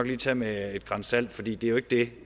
lige tage med et gran salt for det er jo ikke det